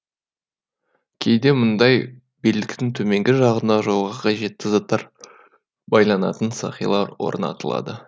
кейде мұндай белдіктің төменгі жағына жолға қажетті заттар байланатын сақилар орнатылады